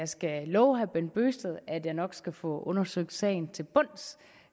skal love herre bent bøgsted at jeg nok skal få undersøgt sagen til bunds